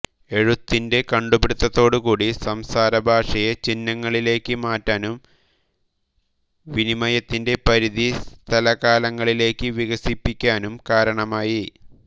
എഴുത്തിന്റെ കണ്ടുപിടുത്തത്തോടുകൂടി സംസാരഭാഷയെ ചിഹ്നങ്ങളിലേയ്ക്ക് മാറ്റാനും വിനിമയത്തിന്റെ പരിധി സ്ഥലകാലങ്ങളിലേയ്ക്ക് വികസിപ്പിക്കാനും കാരണമായി